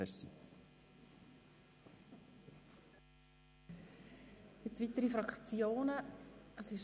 Es haben sich keine weiteren Fraktionen gemeldet.